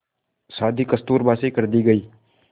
शादी कस्तूरबा से कर दी गई